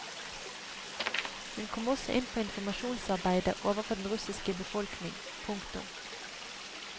Hun kom også inn på informasjonsarbeidet overfor den russiske befolkning. punktum